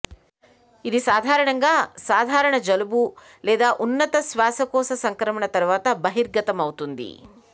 ఇది సాధారణంగా సాధారణ జలుబు లేదా ఉన్నత శ్వాసకోశ సంక్రమణ తరువాత బహిర్గతమవుతుంది